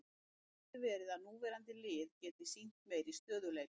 Það gæti verið að núverandi lið geti sýnt meiri stöðugleika.